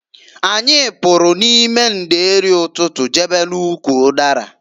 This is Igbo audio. Anyị pụrụ n'ime ndeeri ụtụtụ jebe n'ụkwụ ụdara.